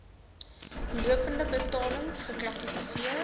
lopende betalings geklassifiseer